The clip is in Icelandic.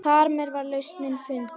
Þarmeð var lausnin fundin.